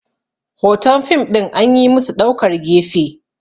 hoton fim ɗin an yi musu ɗaukar gefe